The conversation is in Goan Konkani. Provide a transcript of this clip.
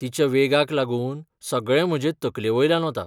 तिच्या वेगाक लागून, सगळें म्हजे तकलेवयल्यान वता.